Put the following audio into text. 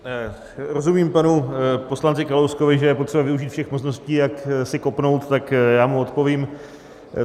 Rozumím panu poslanci Kalouskovi, že je potřeba využít všech možností, jak si kopnout, tak já mu odpovím.